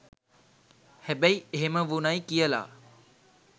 හැබැයි එහෙම වුණයි කියලා